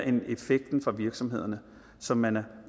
er effekten for virksomhederne som man er